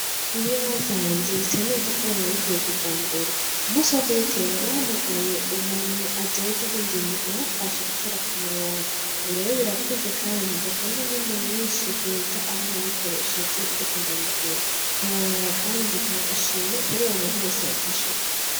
Ibiyoba vyaje bisa neza kubera nabiteye kijambere, umunsi wo kubitera nahamagaye umuntu ajejwe ivy'idimo arafashe gutera k'umurongo, ubu rero birakuze kandi nzokuramwo umwimbu mwinshi kuruta aho nabikoresheje ndiko ndabigura, ntiworaba kandi nzotanga agashimwe kuriwo muntu wese yamfashije.